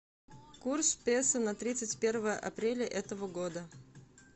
курс песо на тридцать первое апреля этого года